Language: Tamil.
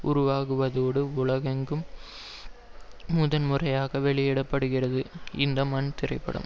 உருவாகுவதோடு உலகெங்கும் முதன்முறையாக வெளியிடப்படுகிறது இந்த மண் திரைப்படம்